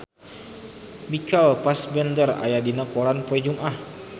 Michael Fassbender aya dina koran poe Jumaah